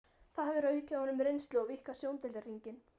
Það hefur aukið honum reynslu og víkkað sjóndeildarhringinn.